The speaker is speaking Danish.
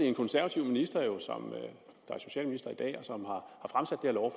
en konservativ minister der er socialminister i dag